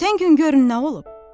Ötən gün görün nə olub?